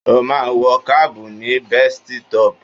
Ó ma wọ kábù ní bestọ́pù.